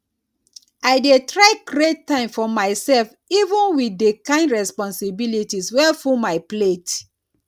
i dey try create time for myself even wit di kain responsibilities wey full my plate